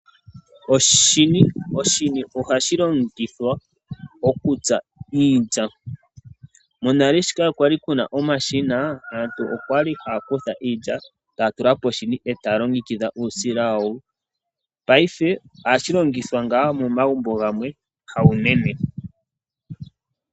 Oshini, oshini ohashi longithwa okutsa iilya. Monale shoka kwali kuna omashina aantu okwali haya kutha iilya taya tula poshini e taya longengidha uusila wawo. Paife ohashi longithwa ngaa momagumbo gamwe, hawunene.